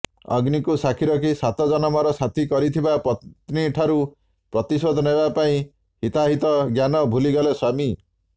ଅଗ୍ନିକୁ ସାକ୍ଷୀ ରଖି ସାତ ଜନମର ସାଥୀ କରିଥିବା ପତ୍ନୀଠାରୁ ପ୍ରତିଶୋଧ ନେବାପାଇଁ ହିତାହିତ ଜ୍ଞାନ ଭୁଲିଗଲେ ସ୍ୱାମୀ